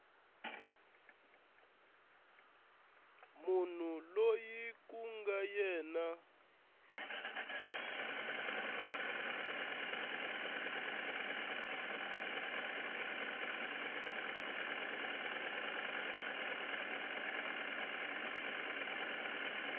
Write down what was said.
munhu loyi ku nga yena